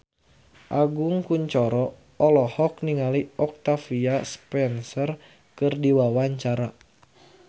Agus Kuncoro olohok ningali Octavia Spencer keur diwawancara